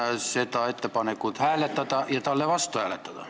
Palun seda ettepanekut hääletada ja selle vastu olla!